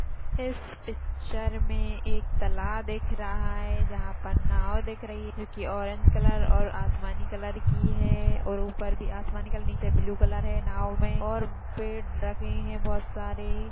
इस पिक्चर मे एक तलाब दिख रहा है। यहा पर नाव दिख रही है जो की ऑरेंज कलर और आसमानी कलर की है और ऊपर भी आसमानी कलर नीचे भी ब्लू कलर है नाव मे और पेड़ रखे है बहोत सारे।